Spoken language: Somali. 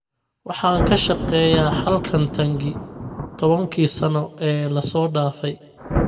Waxaan ka shaqeeyay halkan Tangy tobankii sano ee la soo dhaafay